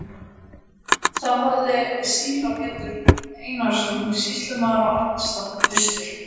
Þá hafði síra Pétur Einarsson sýslumaður á Arnarstapa fyrstur